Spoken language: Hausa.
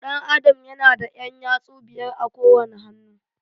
Ɗan Adam ya na da ƴan yatsu biyar a kowane hannu